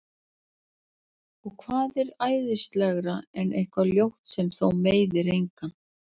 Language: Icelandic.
Og hvað er æsilegra en eitthvað ljótt sem þó meiðir engan?